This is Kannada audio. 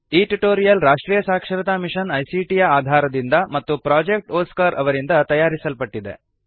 ಈ ಟ್ಯುಟೋರಿಯಲ್ ರಾಷ್ಟ್ರೀಯ ಸಾಕ್ಷರತಾ ಮಿಶನ್ ಐಸಿಟಿ ಯ ಆಧಾರದಿಂದ ಮತ್ತು ಪ್ರೊಜೆಕ್ಟ್ ಒಸ್ಕಾರ್ ಅವರಿಂದ ತಯಾರಿಸಲ್ಪಟ್ಟಿದೆ